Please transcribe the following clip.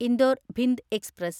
Indore Bhind express